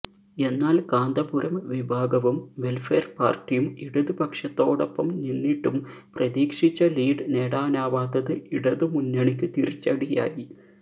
എന്നാല് കാന്തപുരം വിഭാഗവും വെല്ഫയര് പാര്ട്ടിയും ഇടത് പക്ഷത്തോടൊപ്പം നിന്നിട്ടും പ്രതീക്ഷിച്ച ലീഡ് നേടാനാവാത്തത് ഇടതുമുന്നണിക്ക് തിരിച്ചടിയായി